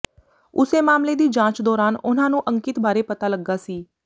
ਉਸੇ ਮਾਮਲੇ ਦੀ ਜਾਂਚ ਦੌਰਾਨ ਉਨ੍ਹਾਂ ਨੂੰ ਅੰਕਿਤ ਬਾਰੇ ਪਤਾ ਲੱਗਾ ਸੀ